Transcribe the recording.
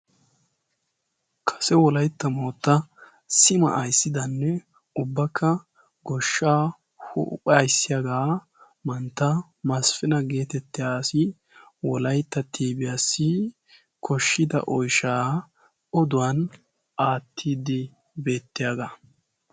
Kase wolaytta mootta sima ayssidanne ubbakka goshsha huupha aissiyaagaa mantta masifina geetettiyaasi wolaitta tiibiyaassi koshshida oyshaa oduwan aattiiddi beettiyaagaa.